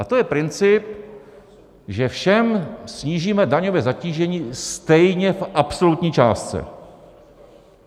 A to je princip, že všem snížíme daňové zatížení stejně v absolutní částce.